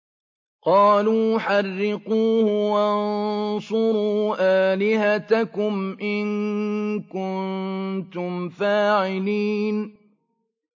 قَالُوا حَرِّقُوهُ وَانصُرُوا آلِهَتَكُمْ إِن كُنتُمْ فَاعِلِينَ